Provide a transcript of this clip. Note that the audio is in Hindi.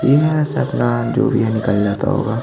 इ है से अपना जो भी है निकल जाता होगा।